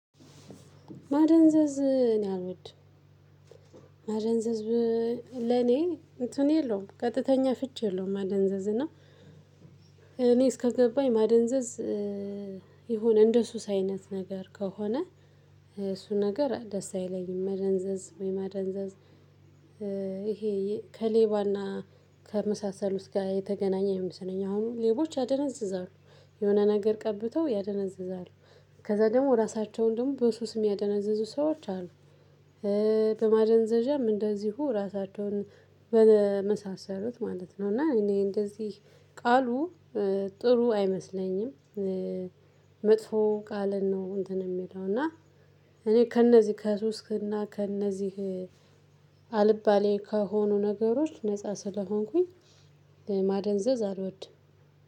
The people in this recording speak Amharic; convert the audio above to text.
ማደንዘዝ እኔ አልወድም ማደንዘዝ ለኔ እንትን የለውም ቀጥተኛ ፍቺ የለውም ማደንዘዝ እና እኔ እስከገባኝ ማደንዘዝ የሆነ እንደሱስ አይነት ነገር ከሆነ እሱ ነገር ደስ አይለኝም መደንዘዝ ወይ ማደንዘዝ ይሄ ከሌባና ከመሳሰሉት ጋ የተገናኘ ይመስለኛል አሁን ሌቦች ያደነዝዛሉ የሆነ ነገር ቀብተው ያደነዝዛሉ ከዛ ደግሞ ራሳቸውን ደግሞ በሱስ የሚያደነዘዙ ሰዎች አሉ። በማደንዘዣም እንደዚሁ ራሳቸውን በመሳሰሉት ማለት ነው እና እኔ እንደዚህ ቃሉ ጥሩ አይመስለኝም መጥፎ ቃልን ነው እንትን የሚለው እና እኔ ከእነዚህ ከሱስ እና ከእነዚህ አልባሌ ከሆኑ ነገሮች ነፃ ስለሆንኩኝ ማደንዘዝ አልወድም።